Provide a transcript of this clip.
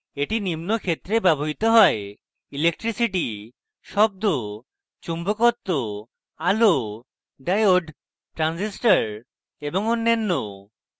এটি নিম্ন ক্ষেত্রে ব্যবহৃত হয়: electricity শব্দ চুম্বকত্ব আলো ডায়োড ট্রানজিস্টর এবং অন্যান্য